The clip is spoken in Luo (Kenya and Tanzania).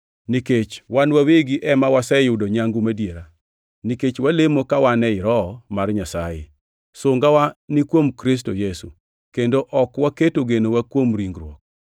Nikech wan wawegi ema waseyudo nyangu madiera, nikech walemo ka wan ei Roho mar Nyasaye, sungawa ni kuom Kristo Yesu, kendo ok waketo genowa kuom ringruok,